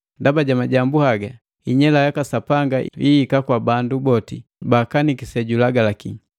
Ndaba ja majambu haga inyela yaka Sapanga ihika kwa bandu boti baakaniki sejulagalaki.